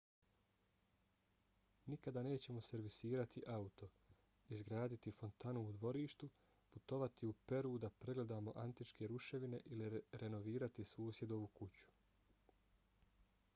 nikada nećemo servisirati auto izgraditi fontanu u dvorištu putovati u peru da pregledamo antičke ruševine ili renovirati susjedovu kuću